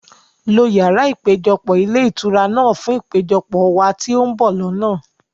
lo yàrá ìpéjọpọ̀ ilé ìtura náà fún ìpéjọpọ̀ wá ti o n bọ̀ lọ́nà!